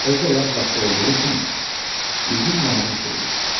Özü də yaz vaxtı olduğu üçün üzüm nadir şey idi.